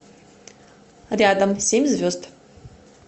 рядом семь звезд